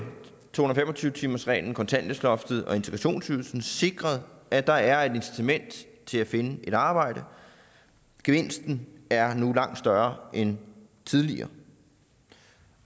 to hundrede og fem og tyve timersreglen kontanthjælpsloftet og integrationsydelsen sikret at der er et incitament til at finde et arbejde gevinsten er nu langt større end tidligere